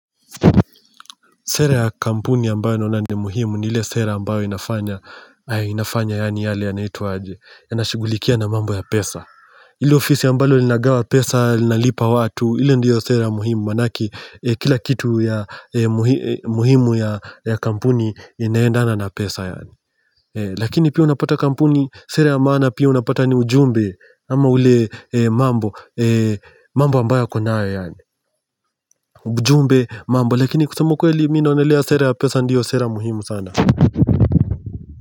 Sera ya kampuni ambayo naona ni muhimu ni ile sera ambayo inafanya yani yale yanaitwa aje inashugulikia na mambo ya pesa ile ofisi ambalo linagawa pesa, linalipa watu ile ndiyo sera muhimu manake kila kitu ya muhimu ya kampuni inaendana na pesa yani Lakini pia unapata kampuni Sera ya maana pia unapata ni ujumbe ama ule mambo ambayo wako nayo yani ujumbe mambo lakini kusema ukweli mi naonelea sera ya pesa ndiyo sera muhimu sana.